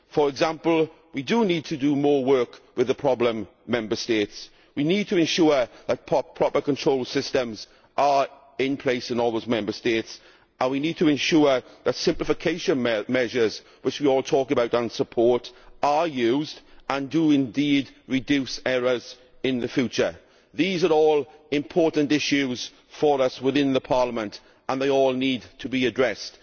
For example, we need to do more work with problem Member States we need to ensure that proper control systems are in place in all those Member States and we need to ensure that simplification measures, which we all talk about and support, are used and do indeed reduce errors in the future. These are all important issues for us in Parliament and they all need to be addressed.